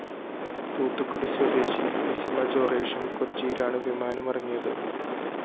തൂത്തുക്കുടി സ്വദേശി ലെസിമ ജൊറേഷും കൊച്ചിയിലാണ് വിമാനമിറങ്ങിയത്